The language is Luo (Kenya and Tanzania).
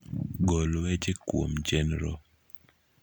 gol weche kuom chenro